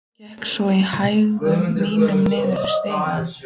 Gekk svo í hægðum mínum niður stigann.